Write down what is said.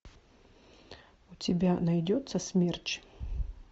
у тебя найдется смерч